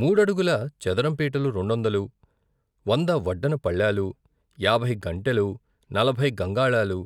మూడడుగుల చదరం పీటలు రెండొందలు, వంద వడ్డన పళ్ళాలు, యాభై గంటెలు, నలభై గంగాళాలు,